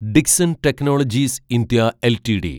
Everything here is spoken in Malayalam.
Dixon technologies (India) LTD